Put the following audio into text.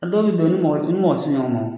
Dɔ bɛ don ni mɔgɔ u ni mɔgɔtɛ se ɲɔgɔn ma